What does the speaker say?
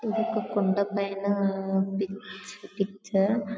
ఇది ఒక కొండా పైనా పిచ్చపిచ్చా--